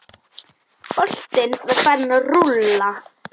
Boltinn var farinn að rúlla.